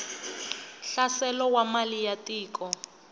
hlaselo wa mali ya tiko